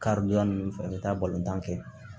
Karidonya ninnu fɛ ka taa balontan kɛ